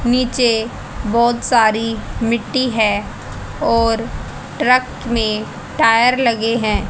नीचे बहोत सारी मिट्टी है और ट्रक में टायर लगे हैं।